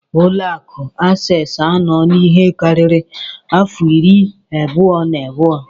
Ụlọ akụ access anọla ihe karịrị afọ irí abụo na abụọ.